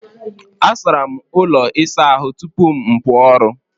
Asara m ụlọ ịsa ahụ tupu m pụọ ọrụ.